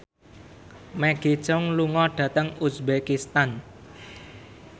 Maggie Cheung lunga dhateng uzbekistan